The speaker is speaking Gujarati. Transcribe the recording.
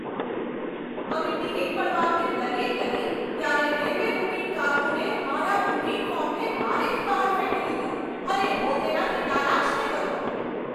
અમે ટિકિટ મળવા અંગે દલીલ કરી ત્યારે રેલવે બુકિંગ કારકુને મારા બુકિંગ ફોર્મને બારીની બહાર ફેંકી દીધું અને હું તેનાથી નારાજ થઈ ગયો.